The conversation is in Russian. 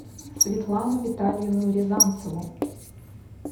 светлану витальевну рязанцеву